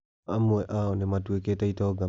Amwe a o nĩ matuĩkĩte itonga makaria.